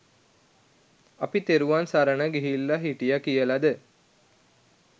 අපි තෙරුවන් සරණ ගිහිල්ලා හිටියා කියලද?